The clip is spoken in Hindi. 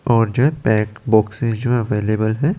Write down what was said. और जेट पैक बॉक्स है जो अवेलबल है।